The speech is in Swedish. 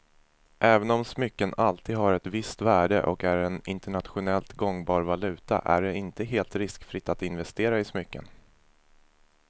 Även om smycken alltid har ett visst värde och är en internationellt gångbar valuta är det inte helt riskfritt att investera i smycken.